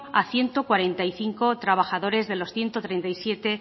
a ciento cuarenta y cinco trabajadores de los ciento treinta y siete